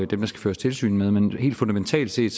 dem der skal føres tilsyn med men helt fundamentalt set